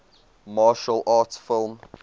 martial arts film